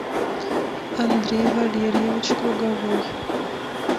андрей валерьевич круговой